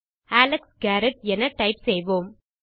Alex Garrettஎன type செய்வோம்